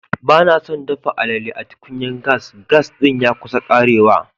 Ba na so n dafa alele da tukunyan gas. Gas din ya kusan karewa.